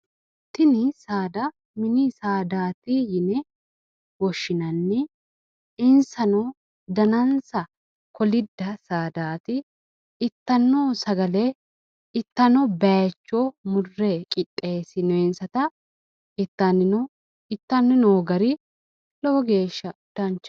Tini saada mini saadaati yine woshshinanni insano danansa kolidda saadaati ittanno sagale ittanno bayiichcho murre qixxeessinoyiinsata ittani no ittanni noo gari lowo geeshsha danchaho